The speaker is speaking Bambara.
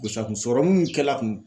gos'a kun sɔrɔmun mun kɛl'a kun